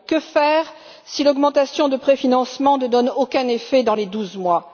Que faire si l'augmentation des préfinancements ne donne aucun effet dans les douze mois?